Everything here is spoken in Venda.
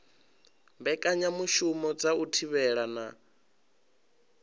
mbekanyamushumo dza u thivhela na